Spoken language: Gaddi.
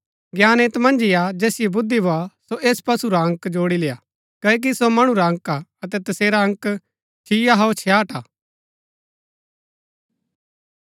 ज्ञान ऐत मन्ज ही हा जैसिओ बुद्धि भोआ सो ऐस पशु रा अंक जोड़ी लेय्आ क्ओकि सो मणु रा अंक हा अतै तसेरा अंक छिआ हौअ छियाट हा